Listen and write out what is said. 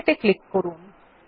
okay ত়ে click করুন